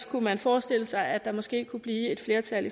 kunne forestille sig at der måske kunne blive et flertal